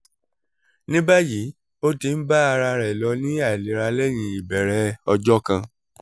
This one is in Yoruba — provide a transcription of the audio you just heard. ní báyìí ó ti ń bá ara rẹ̀ lọ ní àìlera lẹ́yìn ìbẹ̀rẹ̀ ọjọ́ kan